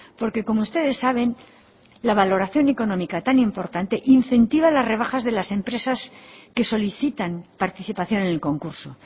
porque como ustedes saben la valoración económica tan importante incentiva las rebajas de las empresas que solicitan participación en el concurso